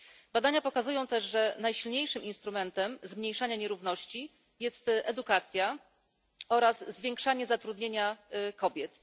Badania pokazują też, że najsilniejszym instrumentem zmniejszania nierówności jest edukacja oraz zwiększanie zatrudnienia kobiet.